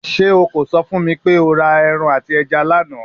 Ṣe o ko sọ fun mi pe o ra ẹran ati ẹja lana?